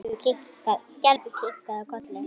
Gerður kinkaði kolli.